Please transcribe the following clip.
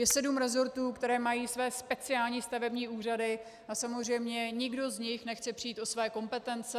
Je sedm rezortů, které mají své speciální stavební úřady, a samozřejmě nikdo z nich nechce přijít o své kompetence.